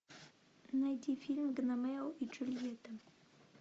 найди фильм гномео и джульетта